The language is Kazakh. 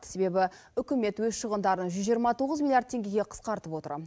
себебі үкімет өз шығындарын жүз жиырма тоғыз миллиард теңгеге қысқартып отыр